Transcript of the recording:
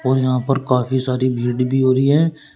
यहां पर काफी सारी भीड़ भी हो रही है।